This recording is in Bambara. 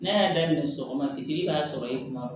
Ne y'a daminɛ sɔgɔma fitiini b'a sɔrɔ i kun